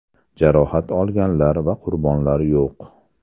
Jarohat olganlar va qurbonlar yo‘q.